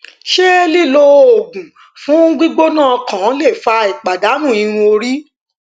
ṣe lilo oogun fun gbigbona okan le fa ipadanu irun ori